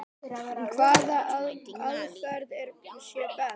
Hvaða aðferð sé best.